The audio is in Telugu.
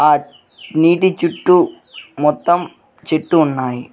ఆ నీటి చుట్టూ మొత్తం చెట్టు ఉన్నాయి.